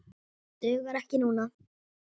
Dugar ekki núna.